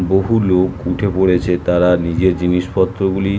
বহু লোক উঠে পড়েছে তারা নিজের জিনিসপত্রগুলি--